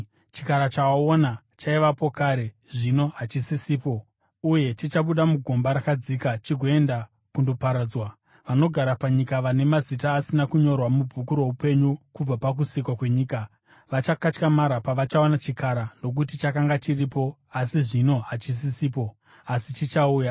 Chikara, chawaona, chaivapo kare, zvino hachisisipo, uye chichabuda mugomba rakadzika chigoenda kundoparadzwa. Vanogara panyika vane mazita asina kunyorwa mubhuku roupenyu kubva pakusikwa kwenyika, vachakatyamara pavachaona chikara, nokuti chakanga chiripo, asi zvino hachisisipo, asi chichauya.